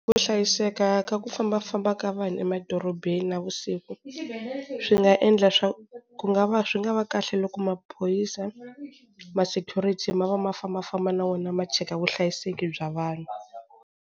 Ku hlayiseka ka ku fambafamba ka vanhu emadorobeni navusiku swi nga endla swa ku nag va swi nga va kahle loko maphorisa ma-security ma va ma fambafamba na wona ma cheka vuhlayiseki bya vanhu.